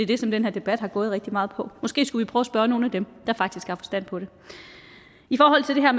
det som den her debat har gået rigtig meget på måske skulle vi prøve spørge nogle af dem der faktisk har forstand på det i forhold til det her